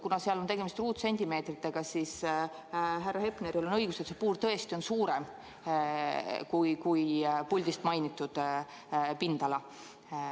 Kuna seal on tegemist ruutsentimeetritega, siis härra Hepneril on õigus: see puur tõesti on suurem kui puldist mainitud pindala.